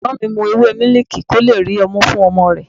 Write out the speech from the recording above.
Ẹ̀gbọ́n mi ń mu ewé miliki kó lè rí ọmú fún ọmọ rẹ̀.